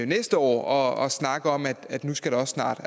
næste år og snakke om at nu skal der også snart